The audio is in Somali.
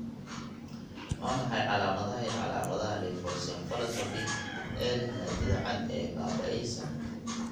Waa maxay calaamadaha iyo calaamadaha leukoencephalopathy ee leh maadada cad ee baaba'aysa?